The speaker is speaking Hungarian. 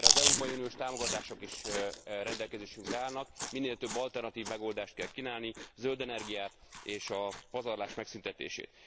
Erre az európai uniós támogatások is rendelkezésünkre állnak, minél több alternatív megoldást kell kínálni, zöld energiát, és a pazarlás megszüntetését.